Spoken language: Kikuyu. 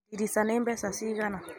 Ndirica nĩ mbeca cigana?